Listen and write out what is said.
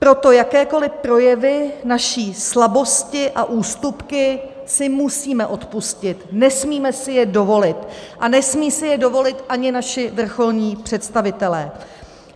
Proto jakékoli projevy své slabosti a ústupky si musíme odpustit, nesmíme si je dovolit a nesmí si je dovolit ani naši vrcholní představitelé.